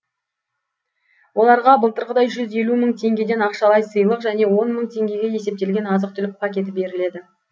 оларға былтырғыдай жүз елу мың теңгеден ақшалай сыйлық және он мың теңгеге есептелген азық түлік пакеті беріледі